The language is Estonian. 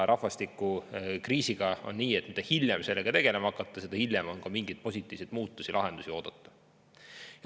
Rahvastikukriisiga on nii, et mida hiljem sellega tegelema hakata, seda hiljem on ka mingeid positiivseid muutusi, lahendusi oodata.